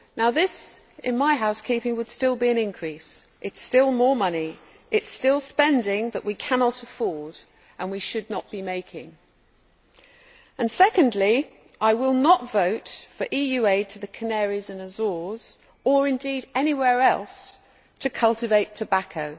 This, in my house keeping would still be an increase, it is still more money, it is still spending that we cannot afford, and we should not be making. Secondly, I will not vote for EU aid to the Canaries and Azores, or indeed anywhere else, to cultivate tobacco,